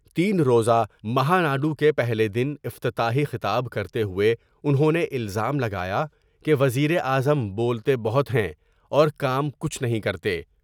تین روز ہ مہاناڈو کے پہلے دن افتتاحی خطاب کرتے ہوۓ انہوں نے الزام لگایا کہ وزیراعظم بولتے بہت ہیں اور کام کچھ نہیں کرتے ۔